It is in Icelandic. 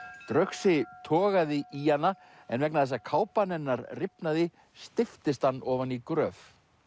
draugsi togaði í hana en vegna þess að kápa hennar rifnaði steyptist hann ofan í gröf